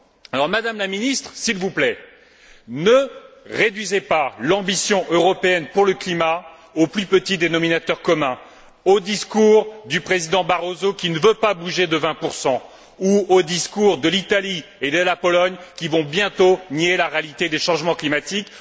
Alors, Madame la Ministre, s'il vous plaît, ne réduisez pas l'ambition européenne en matière de climat au plus petit dénominateur commun, aux discours du président Barroso, qui ne veut pas bouger des 20 ou aux discours de l'Italie et de la Pologne qui vont bientôt nier la réalité des changements climatiques.